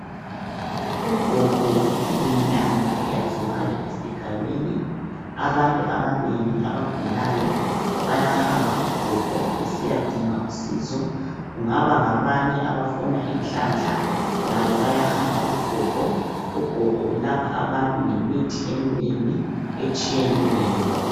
Ugogo uyinyanga eyaziwayo esigabeni abantu abanengi abagulayo bayahamba kugogo besiyadinga usizo kungaba ngabanye abafuna inhlanhla labo bayahamba kugogo, ugogo ulapha abantu ngemithi eminengi etshiyeneyo.